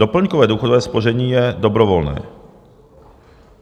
Doplňkové důchodové spoření je dobrovolné.